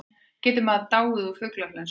Getur maður dáið úr fuglaflensu?